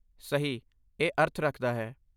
ਸਹੀ! ਇਹ ਅਰਥ ਰੱਖਦਾ ਹੈ।